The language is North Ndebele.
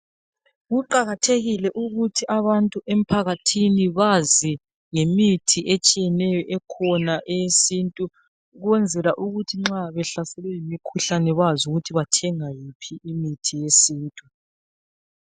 Kuqakathekile ukuthi abantu emphakathini bazi ngemithi etshiyeneyo ekhona eyesintu, ukwenzela ukuthi nxa behlaselwe yimikhuhlane bazi ukuthi bathenga yiphi imithi yesintu.